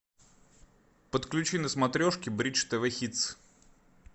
подключи на смотрешке бридж тв хитс